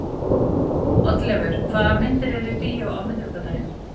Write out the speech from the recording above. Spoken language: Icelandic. Oddleifur, hvaða myndir eru í bíó á miðvikudaginn?